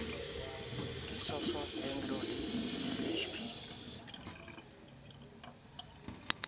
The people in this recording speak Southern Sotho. ka sasol anglo le bhp